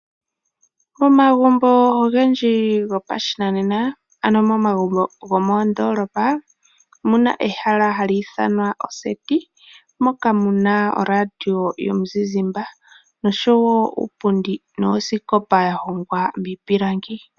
Omagumbo ogendji gopashinanena ano momagumbo gomoondolopa omuna ehala hali ithanwa oseti. Moka muna oradio yomuzizimba noshowo uupundi noosikopa ya hongwa miipilangi.